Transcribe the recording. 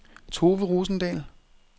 Tove Rosendahl